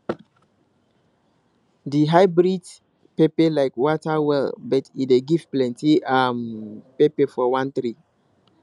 this hybrid pepper like water well but e dey give plenty um pepper from one tree